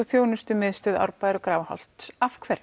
þjónustumiðstöð Árbæjar og Grafarholts af hverju